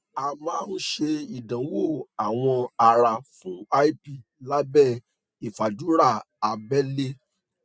a máa ń ṣe ìdánwò awọ ara fún lp lábẹ ìfàdùrà abẹlé